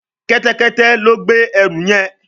Kẹ́tẹ́kẹ́tẹ́ ló gbé ẹrù yén.